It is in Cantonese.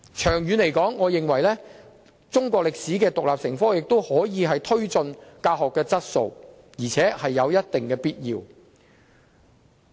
長遠而言，我認為中史獨立成科，有助推進教學質素，而且有一定必要。